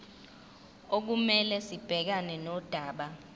okumele sibhekane nodaba